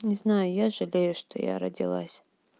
не знаю я жалею что я родилась